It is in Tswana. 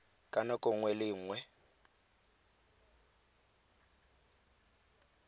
ka nako nngwe le nngwe